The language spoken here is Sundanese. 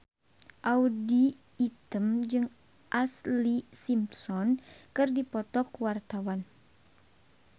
Audy Item jeung Ashlee Simpson keur dipoto ku wartawan